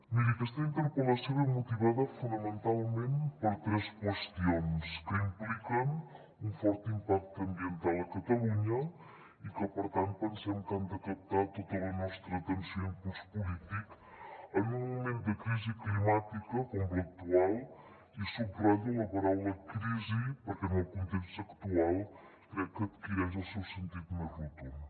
miri aquesta interpel·lació ve motivada fonamentalment per tres qüestions que impliquen un fort impacte ambiental a catalunya i que per tant pensem que han de captar tota la nostra atenció i impuls polític en un moment de crisi climàtica com l’actual i subratllo la paraula crisi perquè en el context actual crec que adquireix el seu sentit més rotund